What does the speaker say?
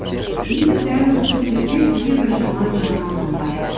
енді дәл осы сәттерде сізге бір жаман жаңалығым бар